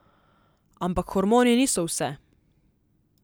Ampak hormoni niso vse.